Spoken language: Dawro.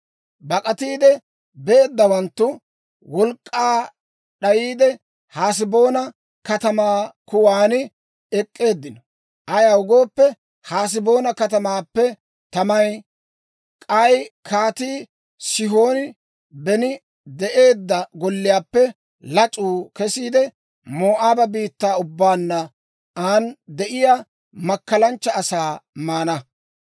«Bak'atiide beeddawanttu wolk'k'aa d'ayiide, Haseboona katamaa kuwan ek'k'eeddino. Ayaw gooppe, Haseboona katamaappe tamay, k'ay Kaatii Sihooni beni de'eedda golliyaappe lac'uu kesiide, Moo'aaba biittaa ubbaanne an de'iyaa makkalanchcha asaa maana.